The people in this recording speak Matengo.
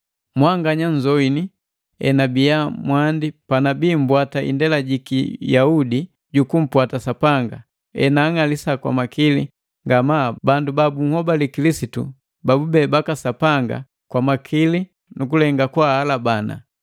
Mwanganya nzoini enabiya mwandi panabii mbwata indela jiki Yaudi jukumpwata Sapanga, enaang'alisa kwamakili ngama bandu ba bunhobali Kilisitu babube baka Sapanga kwa makili nukulenga kwaalabana.